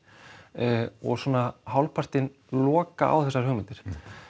og hálfpartinn loka á þessar hugmyndir